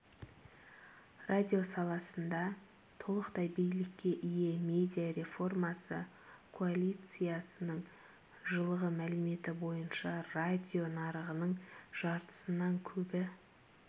радио саласында толықтай билікке ие медиа реформасы коалициясының жылғы мәліметі бойынша радио нарығының жартысынан көбі